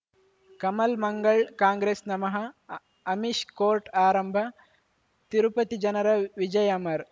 ಕಮಲ್ ಮಂಗಳ್ ಕಾಂಗ್ರೆಸ್ ನಮಃ ಅಮಿಷ್ ಕೋರ್ಟ್ ಆರಂಭ ತಿರುಪತಿ ಜನರ ವಿಜಯ ಅಮರ್